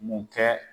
Mun kɛ